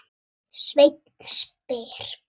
Sveinn spyr: